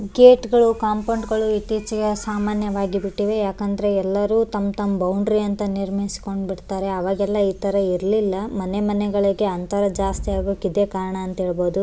ಗೇಟ್ಗಳು compound ಗಳು ಇತ್ತೀಚಿಗೆ ಸಾಮಾನ್ಯವಾಗಿ ಬಿಟ್ಟಿದೆ ಯಾಕಂದ್ರೆ ಎಲ್ಲರು ತಮ್ಮ ತಮ್ಮ ಬೌಂಡರಿ ಅಂತ ನಿರ್ಮಿಸಕೊಂಡು ಬಿಡ್ತಾರೆ ಅವಾಗೆಲ್ಲ ಇತರ ಇರ್ಲಿಲ್ಲ ಮನೆ ಮನೆಗಳಿಗೆ ಅಂತರ ಜಾಸ್ತಿ ಆಗೋಕೆ ಇದೆ ಕಾರಣ ಅಂತ ಹೇಳ್ಬಹುದು .